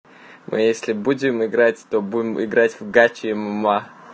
мы если будем играть то будем играть в гатчима